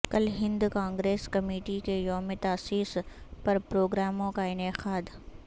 کل Hind Congress committee کےیوم تاسیس پرپروگراموں کا انعقاد